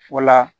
O la